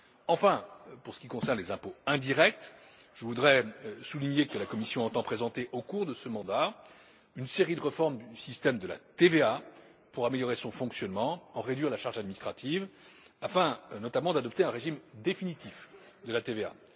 Enfin, pour ce qui concerne les impôts indirects, je tiens à souligner que la Commission entend présenter, au cours de ce mandat, une série de réformes du système de la TVA pour améliorer son fonctionnement, en réduire la charge administrative afin, notamment, d'adopter un régime définitif de la TVA.